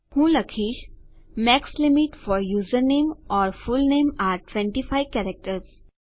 હું લખીશ max limit for username or full name are 25 characters